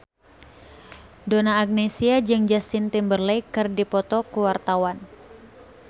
Donna Agnesia jeung Justin Timberlake keur dipoto ku wartawan